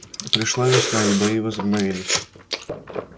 пришла весна и бои возобновились